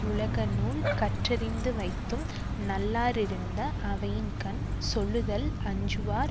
உலகநூல் கற்றறிந்துவைத்தும் நல்லாரிருந்த அவையின்கண் சொல்லுதல் அஞ்சுவார்